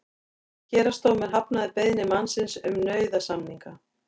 Héraðsdómur hafnaði beiðni mannsins um nauðasamninga